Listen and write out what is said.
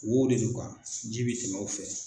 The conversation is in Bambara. Wow de do ji bɛ tɛmɛ o fɛ.